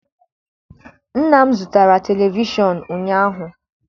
Nna m zụtara televishọn ụnyaahụ.